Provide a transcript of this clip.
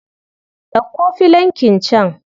Ɗauko filankin can.